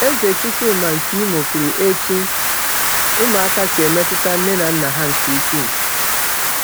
Eze Chukwuma nke Imo kwuru etu ụmụaka si emetụta nne na nna ha nke ukwuu.